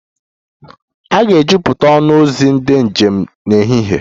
A ga-ejupụta ọnụ ụzọ ndị njem n'ehihie